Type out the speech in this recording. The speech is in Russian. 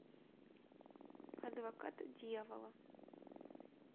адвокат дьявола